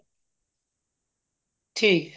ਠੀਕ ਏ